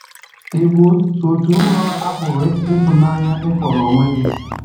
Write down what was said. Ị bụ́ òtù nrọ a pụrụ ịtụnanya ị kpọrọ onwe gị?